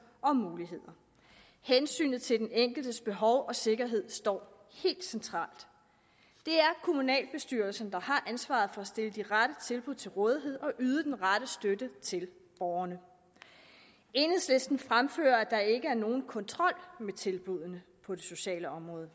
og muligheder hensynet til den enkeltes behov og sikkerhed står helt centralt det er kommunalbestyrelsen der har ansvaret for at stille de rette tilbud til rådighed og yde den rette støtte til borgerne enhedslisten fremfører at der ikke er nogen kontrol med tilbuddene på det sociale område